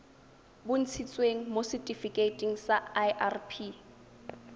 bontshitsweng mo setifikeiting sa irp